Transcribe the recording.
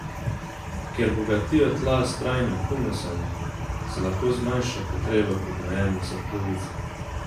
Ker bogatijo tla s trajnim humusom, se lahko zmanjša potreba po gnojenju za polovico.